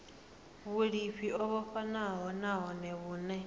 vhulimi o vhofhanaho nahone vhune